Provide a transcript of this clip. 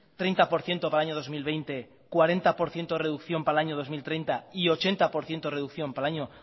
treinta por ciento para el dos mil veinte cuarenta por ciento de reducción para el año dos mil treinta y ochenta por ciento de reducción para el año